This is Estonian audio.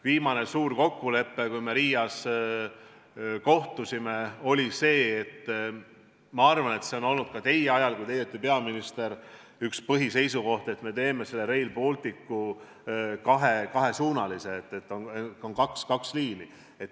Viimane suur kokkulepe, kui me Riias kohtusime, oli see – ma arvan, et see oli ka teie peaministriks oleku ajal üks põhiseisukoht –, et me teeme Rail Balticu kahesuunalise, nii et on kaks liini.